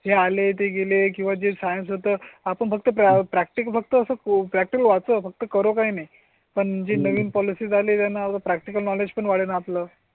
जे आले ते गेले किंवा जे सायन्स होत आपण फक्त प्रॅक्टिकल फक्त वाचो फक्त करो काई नाही पण जे नवीन पॉलिसी झाले त्यांना प्रॅक्टिकल नॉलेज पण वाढेल आपलं.